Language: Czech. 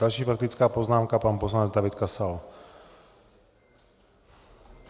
Další faktická poznámka, pan poslanec David Kasal.